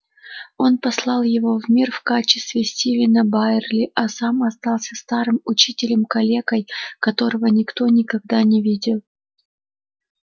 он послал его в мир в качестве стивена байерли а сам остался старым учителем-калекой которого никто никогда не видел